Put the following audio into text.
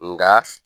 Nga